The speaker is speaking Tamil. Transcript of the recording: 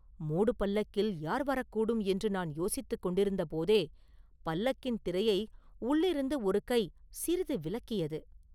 மூடுபல்லக்கில் யார் வரக்கூடும் என்று நான் யோசித்துக் கொண்டிருந்தபோதே பல்லக்கின் திரையை உள்ளிருந்து ஒரு கை சிறிது விலக்கியது.